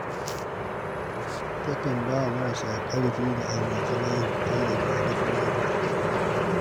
Takan ba wa marasa ƙarfi da almajirai tallafi a duk mako.